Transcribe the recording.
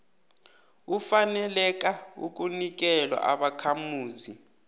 ufaneleka kunikelwa ubakhamuzi